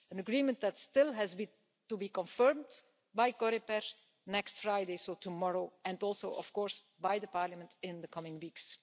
An agreement that still has to be confirmed by Coreper next Friday, so tomorrow, and also of course by Parliament in the coming weeks.